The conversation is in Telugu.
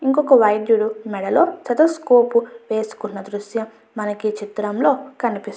ఇంకొక వైదుడు మేడలో స్టెతస్కోప్ వేసుకున్న దృశ్యం మనకి ఈ చిత్రం లో కనిపిస్తున్నది.